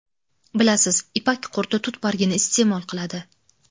Bilasiz, ipak qurti tut bargini iste’mol qiladi.